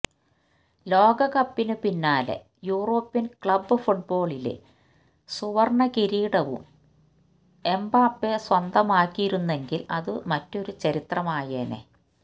ലോകകപ്പിനു പിന്നാലെ European club ഫുട്ബോളിലെ സുവര്ണ കിരീടവും എംബാപ്പേ സ്വന്തമാക്കിയിരുന്നെങ്കില് അത് മറ്റൊരു ചരിത്രമായേനേ